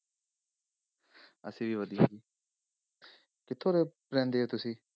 ਅਸੀਂ ਵੀ ਵਧੀਆ ਕਿੱਥੋਂ ਦੇ ਰਹਿੰਦੇ ਹੋ ਤੁਸੀਂ?